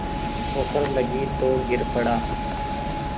ठोकर लगी तो गिर पड़ा